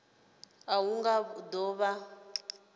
a hu nga do vha